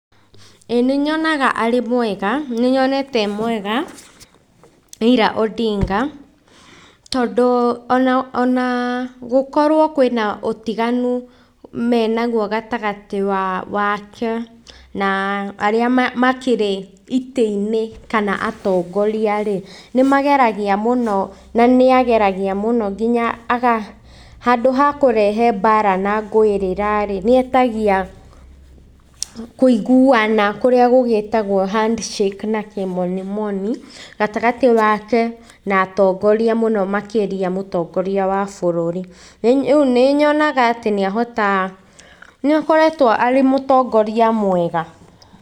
Ĩĩ nĩnyonaga arĩ mwega, nĩnyonete e mwega Raila Odinga, tondũ ona ona gũkorwo kwĩna ũtiganu menaguo gatagatĩ wake na arĩa makĩrĩ itĩ-inĩ kana atongoria-rĩ, nĩmageragia mũno na nĩageragia mũno nginya aga handũ ha kũrehe mbara na ngũĩrĩra-rĩ, nĩetagia kũiguana, kũrĩa gũgĩtagwo handshake na kĩmonimoni, gatagatĩ wake na atongoria mũno makĩria mũtongoria wa bũrũri. Rĩu nĩnyonaga atĩ nĩahotaga, nĩakoretwo arĩ mũtongoria mwega.